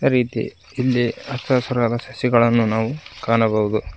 ರೀತಿ ಇಲ್ಲಿ ಹಚ್ಚ ಹಸಿರಾದ ಸಸಿಗಳನ್ನು ನಾವು ಕಾಣಬಹುದು.